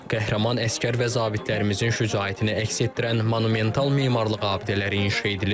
Qəhrəman əsgər və zabitlərimizin şücaətini əks etdirən monumental memarlıq abidələri inşa edilir.